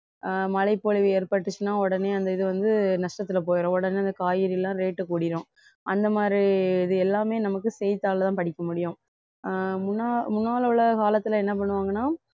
அஹ் மழைப்பொழிவு ஏற்பட்டுச்சுன்னா உடனே அந்த இது வந்து நஷ்டத்துல போயிடும் உடனே அந்த காய்கறி எல்லாம் rate கூடிரும் அந்த மாதிரி இது எல்லாமே நமக்கு செய்தித்தாள தான் படிக்க முடியும் அஹ் முன்னா~ முன்னால் உள்ள காலத்துல என்ன பண்ணுவாங்கன்னா